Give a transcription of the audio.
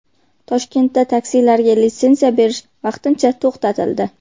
Toshkentda taksilarga litsenziya berish vaqtincha to‘xtatildi.